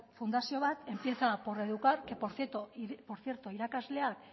fundazio bat empieza por educar que por cierto irakasleak